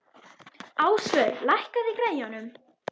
Ásvör, lækkaðu í græjunum.